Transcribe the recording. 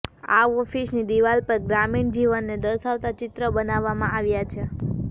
આ ઓફિસની દિવાલ પર ગ્રામીણ જીવનને દર્શાવતા ચિત્ર બનાવવામાં આવ્યા છે